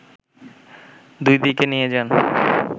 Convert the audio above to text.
দুই দিকে নিয়ে যান